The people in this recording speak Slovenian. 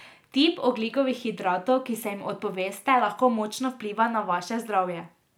Tip ogljikovih hidratov, ki se jim odpoveste, lahko močno vpliva na vaše zdravje.